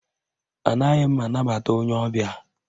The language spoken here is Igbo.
Anaghị m anabata onye ọbịa